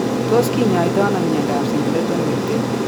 Tos kinyaatano myondap Singleton Merten?